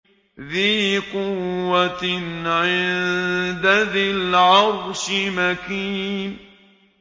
ذِي قُوَّةٍ عِندَ ذِي الْعَرْشِ مَكِينٍ